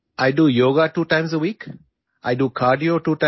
അത് എന്നെ ആരോഗ്യക്ഷമമായും ഊർജസ്വലമായും നിലനിർത്തുന്നു